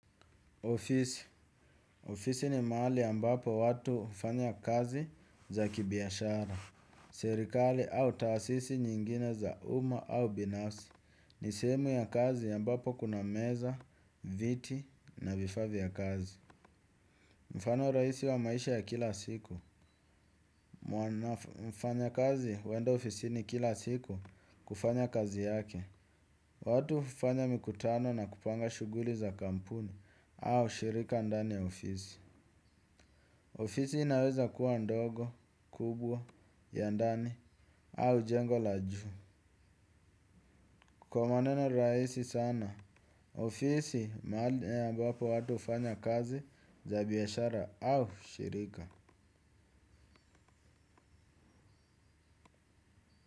Ofisi. Ofisi ni mahali ambapo watu ufanya kazi za kibiashara. Serikali au taasisi nyingine za uma au binafsi. Ni sehemu ya kazi ambapo kuna meza, viti na vifaa ya kazi. Mfano raisi wa maisha ya kila siku. Mfanya kazi huenda ofisi ni kila siku kufanya kazi yake. Watu ufanya mikutano na kupanga shuguli za kampuni au shirika ndani ya ofisi. Ofisi inaweza kuwa ndogo, kubwa, yandani, au jengo la juu. Kwa maneno raisi sana, ofisi mahali ambapo watu ufanya kazi za biyashara au shirika.